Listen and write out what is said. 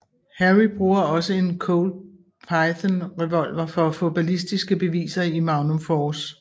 Harry bruger også en Colt Python revolver for at få balistiske beviser i Magnum Force